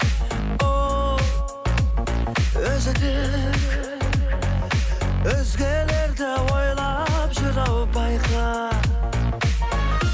ол өзі де өзгелерді өзгелерді ойлап жүр ау байқа